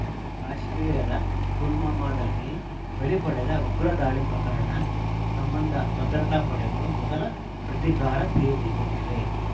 ಕಾಶ್ಮೀರದ ಪುಲ್ವಾಮಾದಲ್ಲಿ ಬಲಿ ಪಡೆದ ಉಗ್ರ ದಾಳಿ ಪ್ರಕರಣ ಸಂಬಂಧ ಭದ್ರತಾ ಪಡೆಗಳು ಮೊದಲ ಪ್ರತೀಕಾರ ತೀರಿಸಿಕೊಂಡಿವೆ